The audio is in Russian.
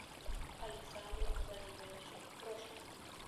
александру владимировичу трошину